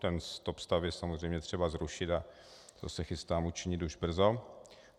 Ten stopstav je samozřejmě třeba zrušit a to se chystám učinit už brzo.